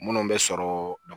Minnu bɛ sɔrɔ